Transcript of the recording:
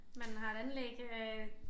Man har et anlæg øh